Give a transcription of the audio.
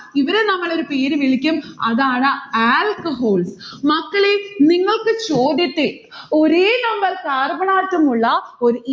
ഇവരെ നമ്മൾ ഒരു പേര് വിളിക്കും അതാണ് alcohol. മക്കളെ നിങ്ങൾക്ക് ചോദ്യത്തിൽ ഒരേ number carbon atom ഉള്ള ഒരു